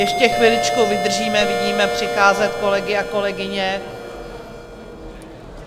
Ještě chviličku vydržíme, vidíme přicházet kolegy a kolegyně.